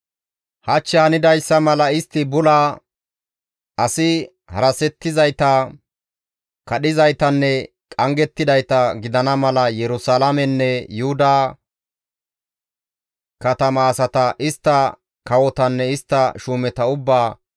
Hach hanidayssa mala istti bula, asi harasettizayta, kadhizaytanne qanggettidayta gidana mala Yerusalaamenne Yuhuda katama asata, istta kawotanne istta shuumeta ubbaa,